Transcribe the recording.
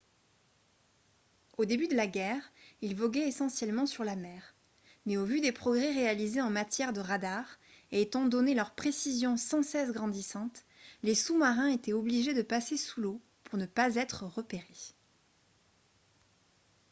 au début de la guerre ils voguaient essentiellement sur la mer mais au vu des progrès réalisés en matière de radars et étant donné leur précision sans cesse grandissante les sous-marins étaient obligé de passer sous l'eau pour ne pas être repérés